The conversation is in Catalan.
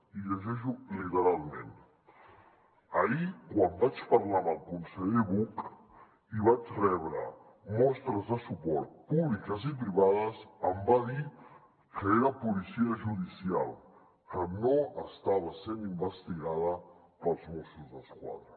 i ho llegeixo literalment ahir quan vaig parlar amb el conseller buch i vaig rebre mostres de suport públiques i privades em va dir que era policia judicial que no estava sent investigada pels mossos d’esquadra